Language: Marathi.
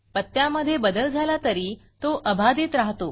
पत्त्यामधे बदल झाला तरी तो अबाधित राहतो